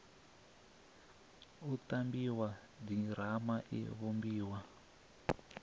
u tambiwa ḓirama i vhumbiwa